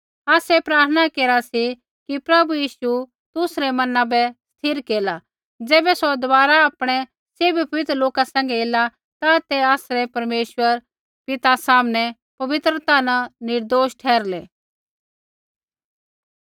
आसै प्रार्थना केरा सी कि प्रभु यीशु तुसरै मन बै स्थिर केरला ज़ैबै सौ दबारा आपणै सैभी पवित्र लोका सैंघै ऐला ता ते आसरै परमेश्वर पिता सामनै पवित्रता न निर्दोष ठहरलै